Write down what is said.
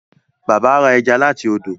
Bàbá rà ẹja láti ọdọ.